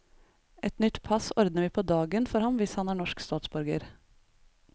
Et nytt pass ordner vi på dagen for ham hvis han er norsk statsborger.